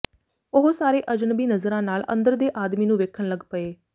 ਉਹ ਸਾਰੇ ਅਜਨਬੀ ਨਜ਼ਰਾਂ ਨਾਲ ਅੰਦਰ ਦੇ ਆਦਮੀ ਨੂੰ ਵੇਖਣ ਲੱਗ ਪਏ